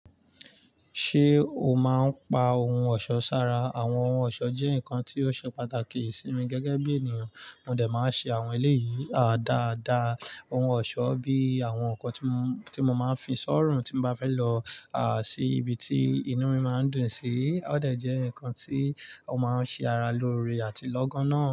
Ṣé o máa ń pa ohun ọ̀ṣọ́ sára? Àwọn ohun ọ̀ṣọ́ jẹ́ nǹkan tí ó ṣe pàtàkì sí mi gẹ́gẹ́ bí ènìyàn. Mo dẹ̀ máa ṣe àwọn eléyìí dáadáa. Ohun ọ̀ṣọ́ bíi àwọn nkan tí mo máa ń fi sọ̀run tí mo bá fẹ́ lọ, à sí ibi tí inú mi máa ń dùn sí. Ó dẹ̀ jẹ́ ǹkan tí ó máa ń ṣe ara lóore àti lọ́gánná.